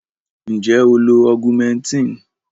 Nje o lo augmentin?